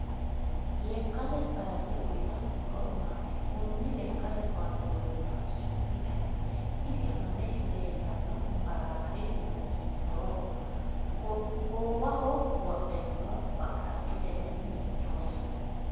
Leekate kaase uyiitanno horo maati kuni lekkate kaase godoo'lanchi su'mi ayiiti isi amade leelanno baraariahi dani hiiitooho qoowaho wodhe noo ba'lattote dani hiitooho